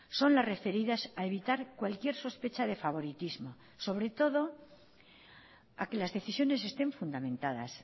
son las referidas a evitar cualquier sospecha de favoritismo sobre todo a que las decisiones estén fundamentadas